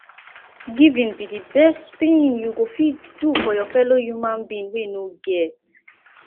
giving be the best thing you go fit do for your fellow human being wey no get